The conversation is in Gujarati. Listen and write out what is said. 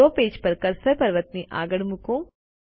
ડ્રો પેજ પર કર્સર પર્વતની આગળ મુકો